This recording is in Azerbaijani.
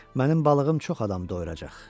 Mənim balığım çox adam doyuracaq.